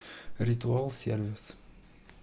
ритуалсервис